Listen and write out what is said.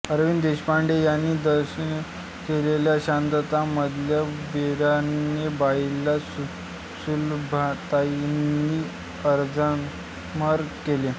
अरविंद देशपांडे यांनी दिग्दर्शित केलेल्या शांतता मधल्या बेणारे बाईला सुलभाताईंनी अजरामर केले